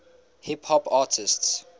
hip hop artists